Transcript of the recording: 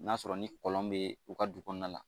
N'a sɔrɔ ni kɔlɔn bɛ u ka du kɔnɔna la